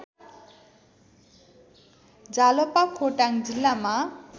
जालपा खोटाङ जिल्लामा